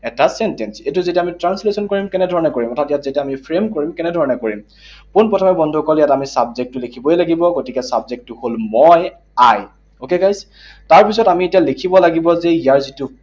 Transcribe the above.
এটা sentence, এইটো যেতিয়া আমি translation কৰিম, কেনেধৰণে কৰিম? অৰ্থাৎ যেতিয়া আমি frame কৰিম, কেনেধৰণে কৰিম? পোন প্ৰথমে বন্ধুসকল ইয়াত আমি subject টো লিখিবই লাগিব। গতিকে subject টো হল মই, I, okay, guys? তাৰপিছত আমি এতিয়া লিখিব লাগিব যে ইয়াৰ যিটো